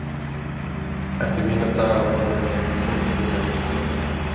eftir mína daga vona ég að fólk muni ekki gleyma mér